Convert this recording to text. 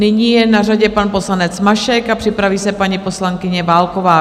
Nyní je na řadě pan poslanec Mašek a připraví se paní poslankyně Válková.